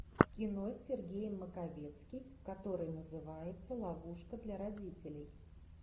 кино с сергеем маковецким которое называется ловушка для родителей